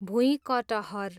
भुइँकटहर